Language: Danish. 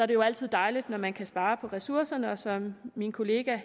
det jo altid dejligt når man kan spare på ressourcerne som min kollega